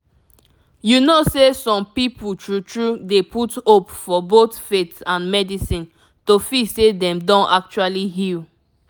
you know say some people true true dey put hope for both faith and medicine to feel say dem don actually heal